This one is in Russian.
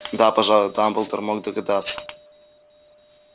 да пожалуй дамблдор мог догадаться